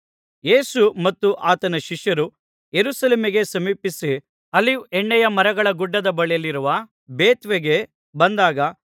ಯೇಸು ಮತ್ತು ಆತನ ಶಿಷ್ಯರು ಯೆರೂಸಲೇಮಿಗೆ ಸಮೀಪಿಸಿ ಆಲಿವ್ ಎಣ್ಣೆಯ ಮರಗಳ ಗುಡ್ಡದ ಬಳಿಯಲ್ಲಿರುವ ಬೇತ್ಫಗೆಗೆ ಬಂದಾಗ